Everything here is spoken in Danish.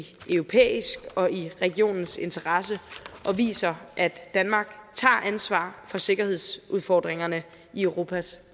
europæisk og i regionens interesse og viser at danmark tager ansvar for sikkerhedsudfordringerne i europas